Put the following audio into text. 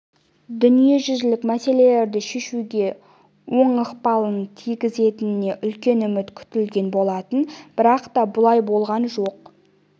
дүниежүзілік мәселелерді шешуге оң ықпалын тигізетініне үлкен үміт күтілген болатын бірақ та бұлай болған жоқ